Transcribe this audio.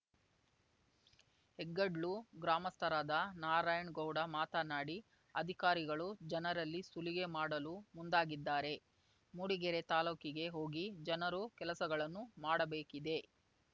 ಹೆಗ್ಗಡ್ಲು ಗ್ರಾಮಸ್ಥರಾದ ನಾರಾಯಣ್‌ ಗೌಡ ಮಾತನಾಡಿ ಅಧಿಕಾರಿಗಳು ಜನರಲ್ಲಿ ಸುಲಿಗೆ ಮಾಡಲು ಮುಂದಾಗಿದ್ದಾರೆ ಮೂಡಿಗೆರೆ ತಾಲೂಕಿಗೆ ಹೋಗಿ ಜನರು ಕೆಲಸಗಳನ್ನು ಮಾಡಬೇಕಿದೆ